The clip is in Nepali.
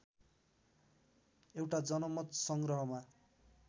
एउटा जनमत संग्रहमा